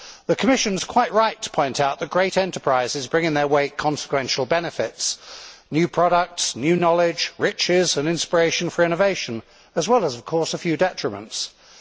The Commission is quite right to point out that great enterprises bring in their wake consequential benefits new products, new knowledge, riches and inspiration for innovation, as well as a few detriments, of course.